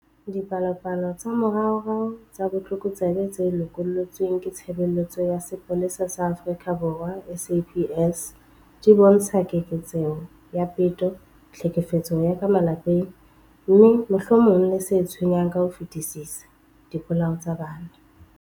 Dipalopalo tsa moraorao tsa botlokotsebe tse lokollotsweng ke Tshebeletso ya Sepolesa sa Afrika Borwa, SAPS, di bontsha keketseho ya peto, tlhekefetso ya ka malapeng, mme, mohlomong le se tshwenyang ka ho fetisisa, dipolao tsa bana.